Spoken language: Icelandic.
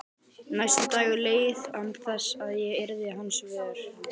Næsti dagur leið án þess að ég yrði hans vör.